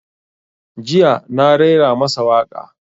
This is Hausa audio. Jiya na raira masa waƙa